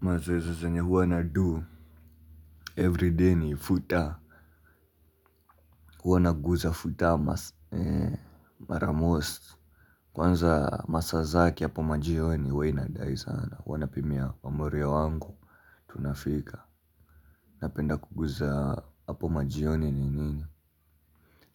Mazoezi zenye huwa na do Every day ni futa. Huwa naguza futa. Mara most kwanza masaa zake hapo majioni huwa inadai sana huwa napimia mamorio wangu. Tunafika. Napenda kuguza hapo majioni ni nini